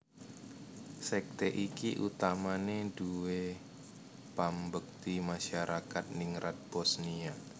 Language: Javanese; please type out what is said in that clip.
Sekte iki utamane duwé pambekti masyarakat ningrat Bosniya